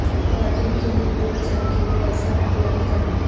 خواتین کے لئے پورے چاند کے لئے پیسہ بلند کرنا